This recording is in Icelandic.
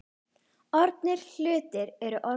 Orðnir hlutir eru orðnir.